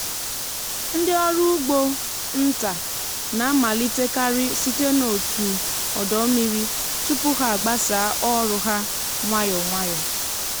ndị ọrụ ugbo nta na-amalitekarị site n’otu ọdọ mmiri tupu ha gbasaa ọrụ ha nwayọ nwayọ.